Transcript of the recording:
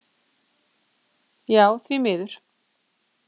Já, því miður.